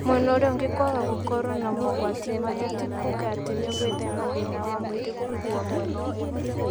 Mwena ũrĩa ũngĩ, kwaga gũkorwo na mogwati maya ti kuga atĩ nĩugwĩthema thĩna wa mwĩrĩ gũkua mwena ũmwe